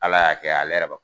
Ala y'a kɛ ale yɛrɛ ba